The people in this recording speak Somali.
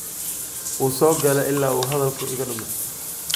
Wuusogale ila uuhadhalka ikadume.